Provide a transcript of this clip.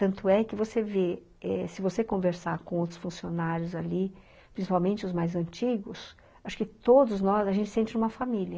Tanto é que você vê, se você conversar com outros funcionários ali, principalmente os mais antigos, acho que todos nós, a gente sente uma família.